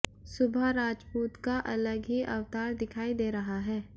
सुभा राजपूत का अलग ही अवतार दिखाई दे रहा है